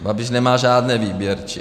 Babiš nemá žádné výběrčí.